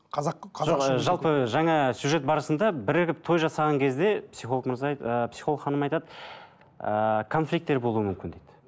жалпы жаңа сюжет барысында бірігіп той жасаған кезде психолог мырза психолог ханым айтады ыыы конфликтер болуы мүмкін дейді